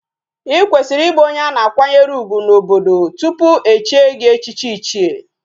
Ikwesiri ibu onye ana akwanyere ugwu na obodo tupu echie gi echichi ichie